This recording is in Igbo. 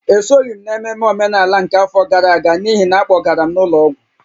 Esoghị m n’ememme omenala nke afọ gara aga n’ihi na a kpọgara m n’ụlọ ọgwụ